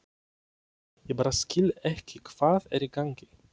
Ég bara skil ekki hvað er í gangi.